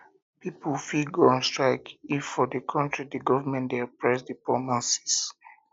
pipo fit go on strike if for di country di government de oppress di poor masses